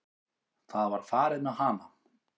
Það var farið með hana.